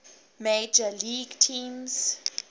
major league teams